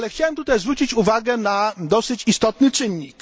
Ale chciałbym tutaj też zwrócić uwagę na dosyć istotny czynnik.